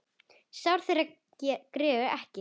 Sár þeirra greru ekki.